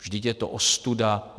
Vždyť je to ostuda.